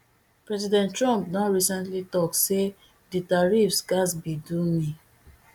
president trump don recently tok say di tariffs gatz be do me